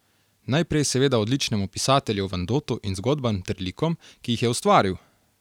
Najprej seveda odličnemu pisatelju Vandotu in zgodbam ter likom, ki jih je ustvaril!